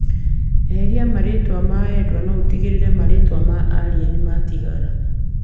Eheria mũtaratara wa endwa no utigĩrĩre marĩtwa ma aria nĩmatigara.